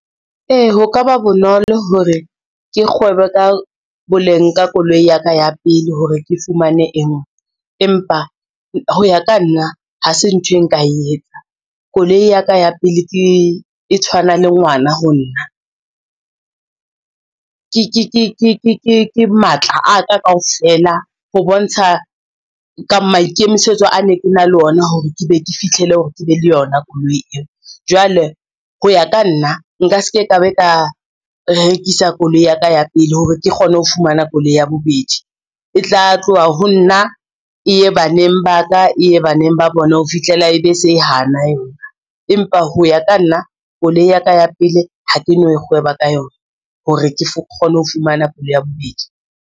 Ee, ho ka ba bonolo hore ke kgwebe ka boleng ka koloi ya ka ya pele hore ke fumane e ngwe, empa ho ya ka nna ha se ntho e nka e etsang. Koloi ya ka ya pele e tshwana le ngwana ho nna, ke matla a ka kaofela ho bontsha ka maikemisetso a ne ke na le ona hore ke be ke fitlhele hore ke be le yona koloi eo. Jwale ho ya ka nna nka se ke ka be ka rekisa koloi ya ka ya pele hore ke kgone ho fumana koloi ya bobedi, e tla tloha ho nna e ye baneng ba ka, e ye baneng ba bona ho fihlela ebe se hana yona. Empa ho ya ka nna, koloi ya ka ya pele ha ke no kgweba ka yona hore ke kgone ho fumana koloi ya bobedi.